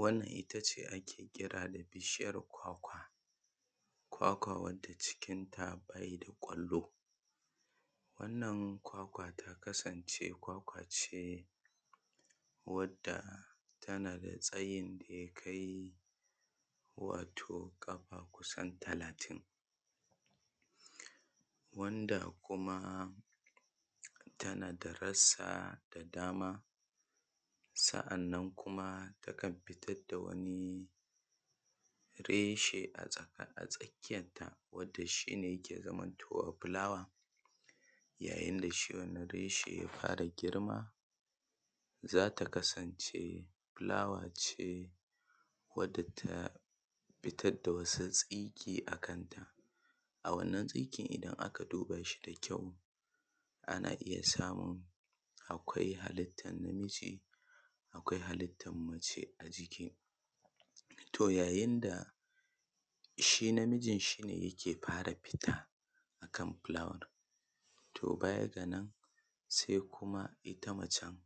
wannan itace ake kira da bishiyar kwakwa. Kwakwa cikin ta akwai ƙwallo, kwakwa ta kassance wadda tsawonta ya kai kafa kusan talatin wadda kuma tana da rassa da dama. Sannan kuma takan fitar da wani reshe a tsakiyarta wanda yake zaman towa fulawa. Yayin da shi wannan reshe ya fara girma zata kassance fulawa ce wadda ta fitar da wasu tsinke a kanta. A wannan tsinken idan aka duba shi da kyau ana iya samun halittar mace a jiki. To yayin da shi namijin shine yake fara fita akan fulawar, to bayan nan sai ita kuma macen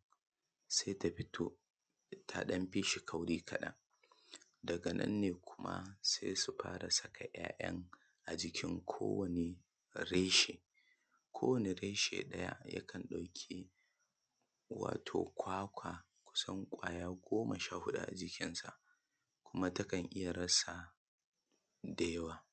ta fito ta dan fi shi kauri kaɗan. Daga nanne kuma sai su fara sakin yaye a jikin ko wani reshe. Ko wani reshe ɗaya yakan ɗauki wato kwakwa kusan ƙwaya goma sha huɗu a jikinsa kuma takan iya rassa da yawa.